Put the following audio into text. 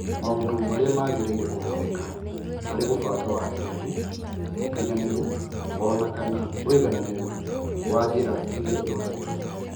Maũndũ marĩa magĩrĩire kũhũthĩka, harĩ gũbanga wagĩrĩru, ũkinyanĩru, o na kana ũigananĩru wa njĩra iria ihũthagĩrũo.